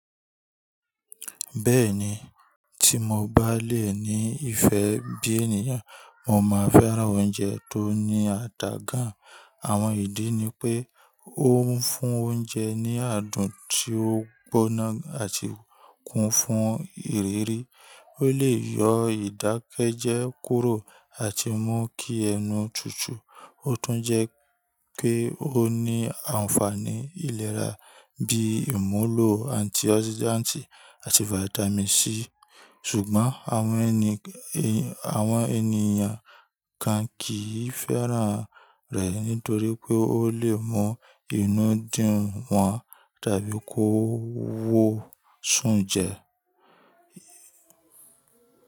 Bẹ́ẹ̀ni, tí mo bá lé è ní ìfẹ́ bí ènìyàn, mo máa fẹ́ran oúnjẹ tó ní àdàgán. Àwọn ìdí ni pé ó ń fún oúnjẹ ní àádùn tí ó gbóná àti kún fún ìrírí. Ó lè yọ ìdákẹ́jẹ́ kúrò àti mú kí ẹnu tutù. Ó tún jẹ́ pé ó ní ànfàní ìlera bíi ìmúlò antioxidant àti Vitamin C. Ṣùgbọ́n àwọn ènìyàn kan kìí fẹ́ran rẹ̀ nítorí pé ó lè mú inú dun wọ̀n tàbí kó wó súnjẹ.